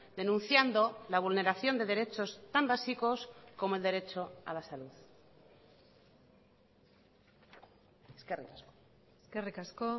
denunciando la vulneración de derechos tan básicos como el derecho a la salud eskerrik asko eskerrik asko